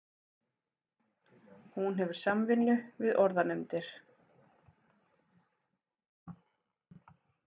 Hún hefur samvinnu við orðanefndir.